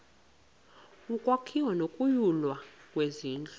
ukwakhiwa nokunyulwa kwezindlu